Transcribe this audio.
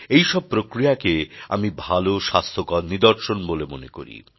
এই সব প্রক্রিয়াকে আমি ভালো স্বাস্থ্যকর নিদর্শন মনে করি